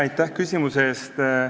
Aitäh küsimuse eest!